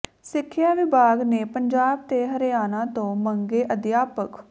ਸਿੱਖਿਆ ਵਿਭਾਗ ਨੇ ਪੰਜਾਬ ਤੇ ਹਰਿਆਣਾ ਤੋਂ ਮੰਗੇ ਅਧਿਆਪਕ